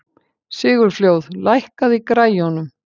Sigurfljóð, lækkaðu í græjunum.